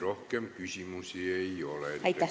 Rohkem küsimusi ei ole.